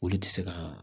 Olu tɛ se ka